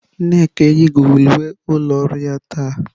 Nneka eyighị uwe ụlọ ọrụ ya taa.